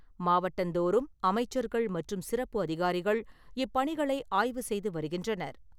மாவட்டந்தோறும் அமைச்சர்கள் மற்றும் சிறப்பு அதிகாரிகள் இப்பணிகளை ஆய்வு செய்து வருகின்றனர்.